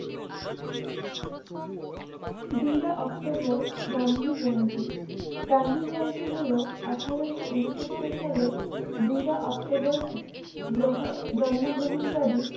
দুইরা October Gandhi Jayanti Gandhi Jayanti হলো আঠারোশো ঊনসত্তর সালে দুইরা অক্টোবর গ্রহ~জন্মগ্রহণ কারী